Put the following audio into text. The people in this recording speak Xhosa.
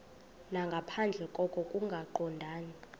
nangaphandle koko kungaqondani